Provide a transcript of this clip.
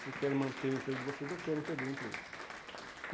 Se querem manter o emprego de vocês ou querem perder o emprego.